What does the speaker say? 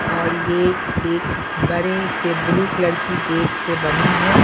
और यह एक बड़े से ब्लू कलर की गेट से बनी है।